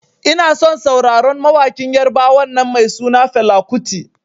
Inason sauraron mawaƙin yarbawan nan mai suna Fela kuti.